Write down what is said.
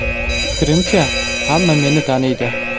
Fikrimcha, hamma meni taniydi.